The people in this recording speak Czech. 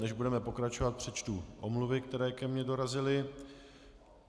Než budeme pokračovat, přečtu omluvy, které ke mně dorazily.